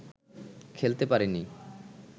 খেলতে পারিনি